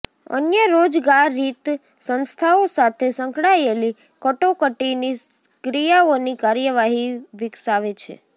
અન્ય રોજગારિત સંસ્થાઓ સાથે સંકળાયેલી કટોકટીની ક્રિયાઓની કાર્યવાહી વિકસાવે છે